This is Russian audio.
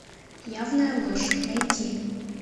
явная ложь найти